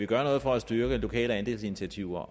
gøre noget for at styrke lokale andelsinitiativer